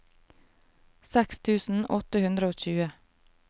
seks tusen åtte hundre og tjue